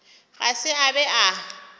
ga se a be a